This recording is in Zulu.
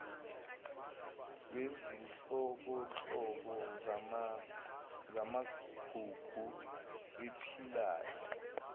wezinhlobonhlobo zamagugu aphilayo